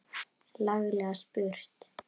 Laglega spurt!